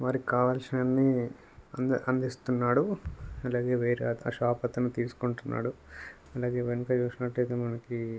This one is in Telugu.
వారికి కావలసినవన్నీ అంద అందిస్తున్నాడు అలాగే వేరే ఒక షాప్ అతను తీసుకుంటున్నాడు అలాగే వెనక చూసినట్టయితే మనకి --